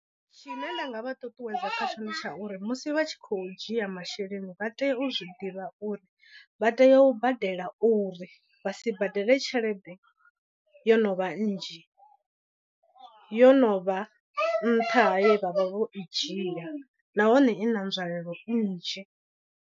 Tshine nda nga vha ṱuṱuwedza kha tsho nditsha uri musi vha tshi khou dzhia masheleni vha tea u zwi ḓivha uri vha tea u badela uri vha si badele tshelede yo no vha nnzhi yo no vha nṱha haye vha vha vho i dzhia nahone i na nzwalelo nnzhi.